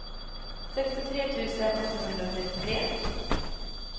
sextiotre tusen åttahundratrettiotre